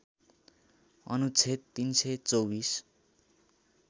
अनुच्छेद ३२४